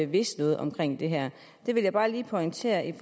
vidst noget om det her det vil jeg bare lige pointere i